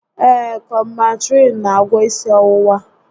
Ee, Kọmbantrịịn n'agwọ isi ọwụwa